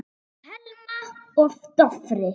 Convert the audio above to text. Thelma og Dofri.